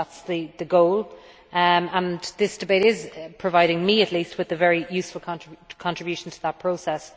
That is the goal, and this debate is providing me at least with a very useful contribution to that process.